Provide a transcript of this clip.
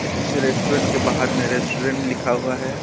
इस रेस्टोरेंट के बाहर में रेस्टोरेंट लिखा हुआ है.